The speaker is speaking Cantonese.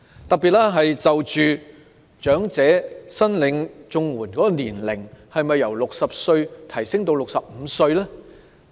特別是長者申領綜合社會保障援助的年齡，應否由60歲提高至65歲呢？